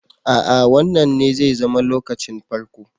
Aa Wannan ne zai zama lokacin farko.